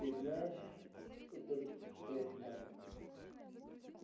ты знаешь этот штрек майк